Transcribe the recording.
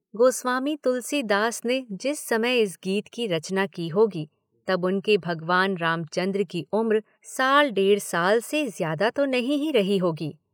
गोस्वामी तुलसी दास ने जिस समय इस गीत की रचना की होगी तब उनके भगवान रामचन्द्र की उम्र साल डेढ़ साल से ज्यादा तो नहीं ही रही होगी।